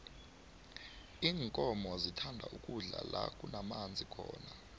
iinkomo zithanda ukudla la kunamanzi khona